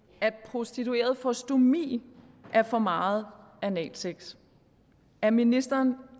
at prostituerede får stomi af for meget analsex er ministeren